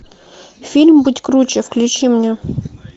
фильм будь круче включи мне